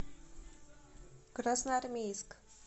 красноармейск